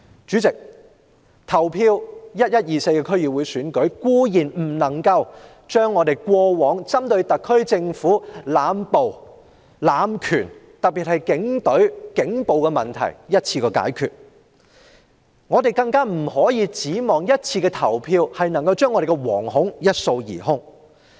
主席 ，11 月24日的區議會選舉，固然不能一次過解決特區政府濫捕濫權的問題，尤其是警隊的警暴問題，我們亦不能奢望一次的投票能將我們的惶恐一掃而空。